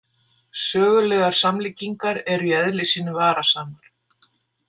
Sögulegar samlíkingar eru í eðli sínu varasamar.